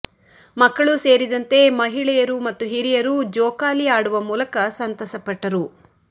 ಮಕ್ಕಳು ಸೇರಿದಂತೆ ಮಹಿಳೆಯರು ಮತ್ತು ಹಿರಿಯರು ಜೋಕಾಲಿ ಆಡುವ ಮೂಲಕ ಸಂತಸ ಪಟ್ಟರು